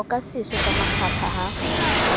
oka seso ka makgapha ha